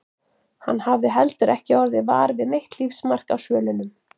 Hann hafði heldur ekki orðið var við neitt lífsmark á svölunum.